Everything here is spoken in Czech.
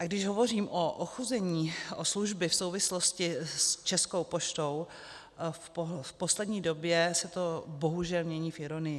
A když hovořím o ochuzení o služby v souvislosti s Českou poštou, v poslední době se to bohužel mění v ironii.